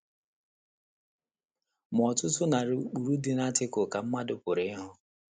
‘ Ma ọtụtụ narị ụkpụrụ dị na Atịkụlụ, ’ ka mmadụ pụrụ ikwu.